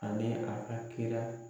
Ani a ka kira